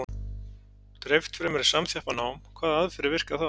Dreift fremur en samþjappað nám Hvaða aðferðir virka þá?